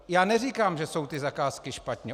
Já neříkám, že jsou ty zakázky špatně.